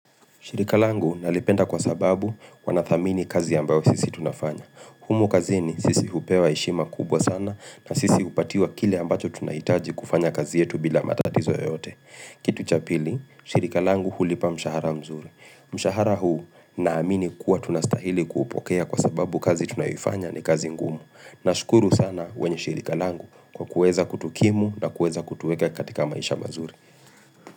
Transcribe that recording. Shirika langu nalipenda kwa sababu kwa wanathamini kazi ambayo sisi tunafanya. Humu kazi ni sisi hupewa heshima kubwa sana na sisi hupatiwa kile ambacho tunaitaji kufanya kazi yetu bila matatizo yote. Kitu chapili, shirika langu hulipa mshahara mzuri. Mshahara huu na amini kuwa tunastahili kuupokea kwa sababu kazi tunayoifanya ni kazi ngumu. Na shukuru sana wenye shirika langu kwa kuweza kutukimu na kueza kutuweka katika maisha mazuri.